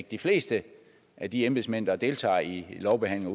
de fleste af de embedsmænd der deltager i lovbehandling